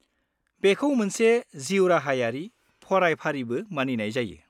-बेखौ मोनसे जिउराहायारि फरायफारिबो मानिनाय जायो।